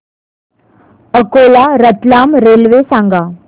Akola Ratlam railway सांगा